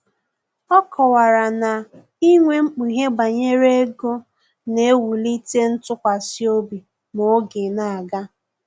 Ọ kọwara na inwe mkpughe banyere ego na-ewulite ntụkwasịobi ma oge na-aga